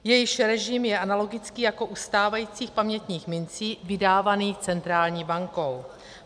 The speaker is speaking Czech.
- jejichž režim je analogický jako u stávajících pamětních mincí vydávaných centrální bankou.